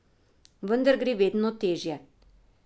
Vendar gre vedno težje.